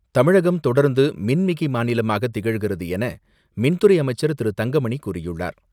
தமிழகம் தொடர்ந்து மின்மிகை மாநிலமாக திகழ்கிறது என மின்துறை அமைச்சர் திரு தங்கமணி கூறியுள்ளார்.